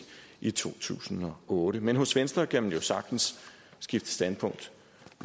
i to tusind og otte men hos venstre kan man jo sagtens skifte standpunkt